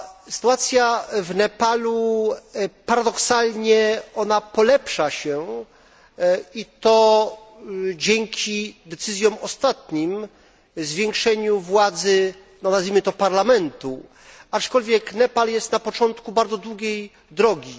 Sytuacja w Nepalu paradoksalnie polepsza się i to dzięki decyzjom ostatnim, zwiększeniu władzy nazwijmy to Parlamentu, aczkolwiek Nepal jest na początku bardzo długiej drogi.